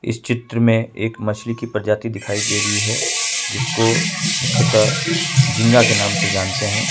इस चित्र में एक मछली की प्रजाति दिखाई दे रही है जिसको मुख्यतः झिंगा के नाम से जानते है।